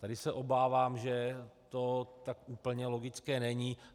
Tady se obávám, že to tak úplně logické není.